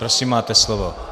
Prosím, máte slovo.